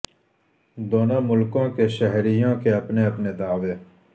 دونوں ملکوں کے شہریوں کے اپنے اپنے دعوے